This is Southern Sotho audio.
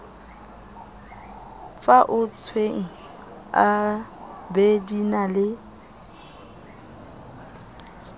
faotsweng ab di na le